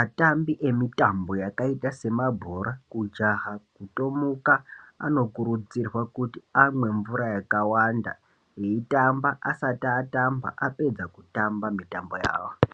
atambi yemitambo yakaita sabhora kujaha kutomuka anokurudzirwa amweni mvura yakawanda veitamba vasati vatamba apedza kutamba mitambo yawo.